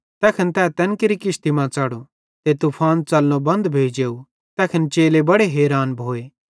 तैखन तै तैन केरि किश्ती मां च़ढ़ो ते तूफान च़लनो बन्ध भोइ जेव तैखन चेले बड़े हैरान भोए